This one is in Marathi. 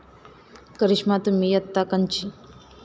करिष्मा तुही यत्ता कंची?